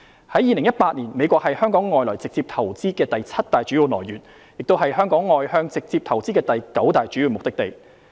在2018年，美國是香港外來直接投資的第七大主要來源，亦是香港外向直接投資的第九大主要目的地。